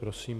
Prosím.